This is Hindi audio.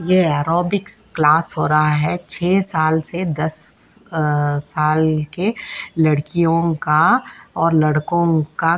ये ऐरोबिक्स क्लास हो रहा है छे साल से दस अ साल के लड़कियों का और लड़कों का।